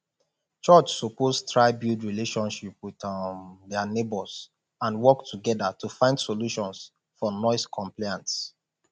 church suppose try build relationship with um dia neighbors and work together to find solutions for noise complaints